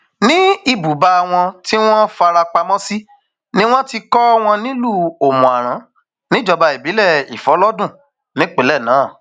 ní ibùba wọn tí wọn fara pamọ sí ni wọn ti kọ wọn nílùú òmùaran níjọba ìbílẹ ìfọlọdún nípìnlẹ náà